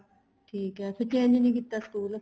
ਠੀਕ ਏ ਫ਼ਿਰ change ਨਹੀਂ ਕੀਤਾ ਸਕੂਲ